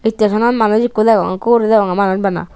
istesonot manuj ikko degong ikko guri degonge manuj bana.